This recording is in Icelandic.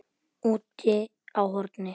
Úti á horni.